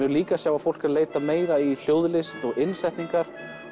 líka að sjá fólk er að leita meira í og innsetningar